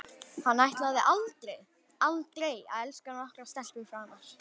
Hann ætlaði aldrei, aldrei að elska nokkra stelpu framar.